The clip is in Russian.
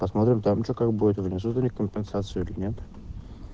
посмотрим там что как будет внизу компенсацию принят